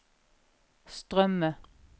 strømme